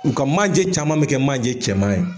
U ka manje caman bi kɛ manje cɛman ye.